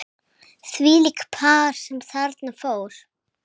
Þvílíkt par sem þarna fór.